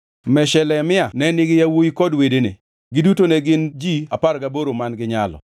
Meshelemia ne nigi yawuowi kod wedene, giduto ne gin ji apar gaboro man-gi nyalo.